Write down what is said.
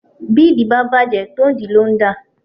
Bídìí bàjẹ́ tonídìí ló ń dà